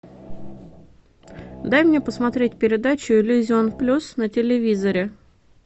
дай мне посмотреть передачу иллюзион плюс на телевизоре